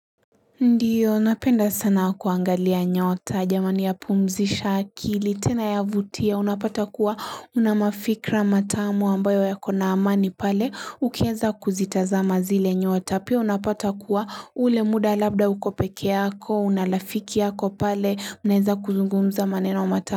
Ndiyo napenda sana kuangalia nyota jamani ya pumzisha akili tena yavutia unapata kuwa unamafikira matamu ambayo yako na amani pale ukieza kuzitazama zile nyota pia unapata kuwa ule muda labda uko peke yako unalafiki yako pale unaeza kuzungumza maneno matamu.